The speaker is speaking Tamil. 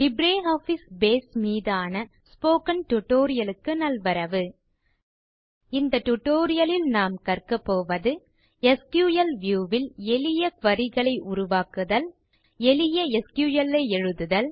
லிப்ரியாஃபிஸ் பேஸ் மீதான ஸ்போக்கன் டியூட்டோரியல் க்கு நல்வரவு இந்த tutorialலில் நாம் கற்க போவது எஸ்கியூஎல் வியூ ல் எளிய குரி க்களை உருவாக்குதல் எளிய எஸ்கியூஎல் ஐ எழுதுதல்